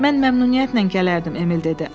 Mən məmnuniyyətlə gələrdim, Emil dedi.